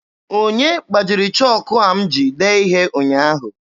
Onye gbajiri chọọkụ a m ji dee ihe ụnyaahụ?